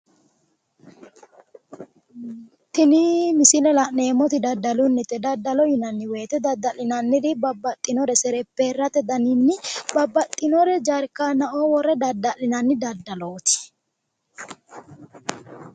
Tini misile la'neemmoti daddalunnite, daddalo yinanni woyiite, dadda'linanniri babbaxxinore serepherate daninni babbaxxinore jarkaannaoo worre dadda'linanni daddalooti.